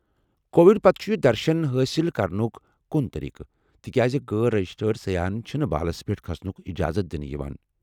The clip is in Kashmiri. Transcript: کووڈ پتہٕ چُھ یہ درشُن حٲصل کرنُک کُن طریقہٕ، تکیاز غٲر رجسٹرڈ سیاحن چُھنہٕ بالس پیٹھ كھسنُك اجازت دنہٕ یوان۔